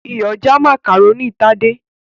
Iyọ̀ já macaroni Tade's.